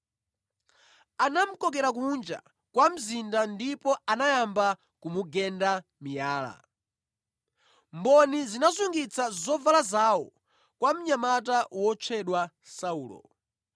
anamukokera kunja kwa mzinda ndipo anayamba kumugenda miyala. Mboni zinasungitsa zovala zawo kwa mnyamata otchedwa Saulo.